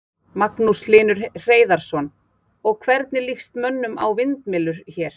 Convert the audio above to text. Magnús Hlynur Hreiðarsson: Og, hvernig lýst mönnum á að fá vindmyllur hér?